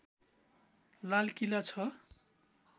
लालकिला छ